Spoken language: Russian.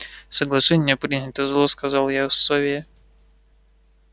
соглашение принято зло сказал я сове